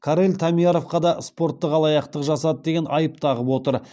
карел таммъярвқа да спорттық алаяқтық жасады деген айып тағып отыр